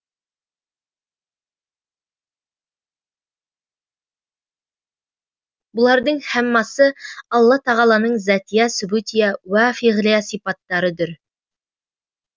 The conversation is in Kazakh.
бұлардың һәммасы алла тағаланың затия субутия уә фиғлия сипаттары дүр